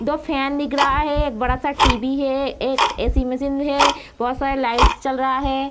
दो फैन दिख रहा है एक बड़ा सा टी.वी. है एक ए.सी. मशीन है बहुत सारा लाइट्स जल रहा है।